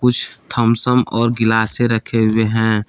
कुछ Thums Up और गिलासें रखे हुए हैं।